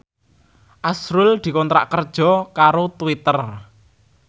azrul dikontrak kerja karo Twitter